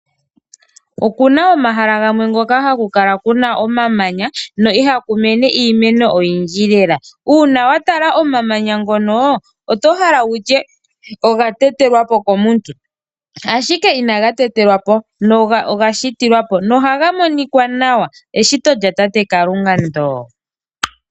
Okuna omahala gamwe hoka haku kala kuna omamanya, na ihaku mene iimeno oyindji lela. Uuna wa tala omamanya ngoka, oto hala wutye oga tetelwapo komuntu, ashike inaga tetelwapo, oga shitilwapo, na ohaga monika nawa, ano eshito lya tate Kalunga ndjoka.